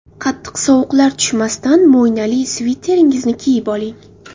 Qattiq sovuqlar tushmasdan mo‘ynali sviteringizni kiyib qoling.